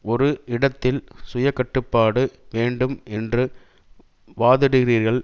ஒரு இடத்தில் சுய கட்டுப்பாடு வேண்டும் என்று வாதிடுகிறீர்கள்